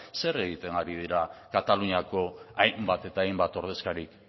zer egiten ari dira kataluniako hainbat eta hainbat ordezkarik